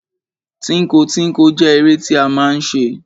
Tínko tínko jẹ́ eré tí a máa ń ṣe.